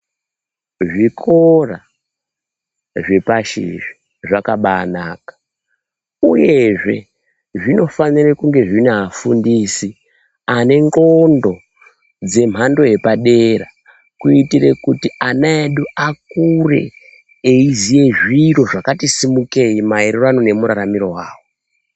Zvikora zvepashiri zvakabanaka uyezve zvinofanire kunge zvinafundisi anengxondo dzemhando yepadera kuitire kuti anayedu akure muzvidhlwiro zvakati simukeyi mayererano nemuraramiro wawo.